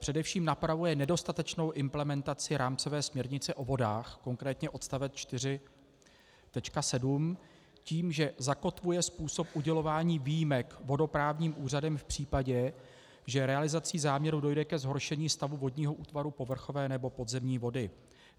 Především napravuje nedostatečnou implementaci rámcové směrnice o vodách, konkrétně odst. 4.7, tím, že zakotvuje způsob udělování výjimek vodoprávním úřadem v případě, že realizací záměru dojde ke zhoršení stavu vodního útvaru povrchové nebo podzemní vody.